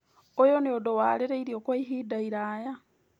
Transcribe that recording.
ũyũ nĩ ũndũ warĩrĩirio kwa ihinda iraya